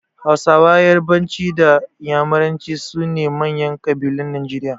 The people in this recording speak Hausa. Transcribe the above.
Hausa, yarbanci da iyamuranci su ne manyan ƙabilun Najeriya